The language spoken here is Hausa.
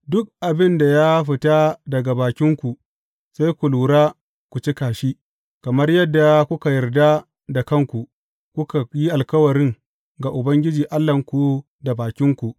Duk abin da ya fita daga bakinku, sai ku lura ku cika shi, kamar yadda kuka yarda da kanku, kuka yi alkawarin ga Ubangiji Allahnku da bakinku.